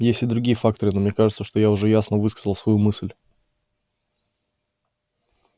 есть и другие факторы но мне кажется что я уже ясно высказал свою мысль